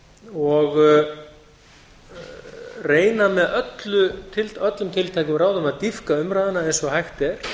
og reyna með öllum tiltækumráðum að dýpka umræðuna eins og hægt er